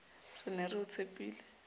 re ne re o tshepile